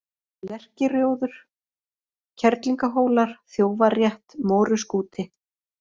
Lerkirjóður, Kerlingahólar, Þjófarétt, Móruskúti